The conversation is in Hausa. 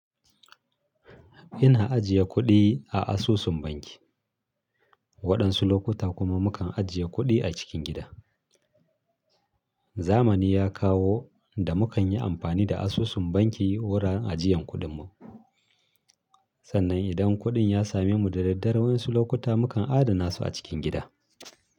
Ina ajiye kuɗi a asusun banki, waɗansu lokuta kuma mukan ajiye kuɗi a cikin gida. Zamani ya kawo da mukan yi amfani da asusun banki wuraren ajiyan kuɗin mu, sannan idan kuɗin ya same mu da daddare waƴansu lokuta mukan adana su a cikin gida.